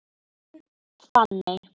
Þín Fanney.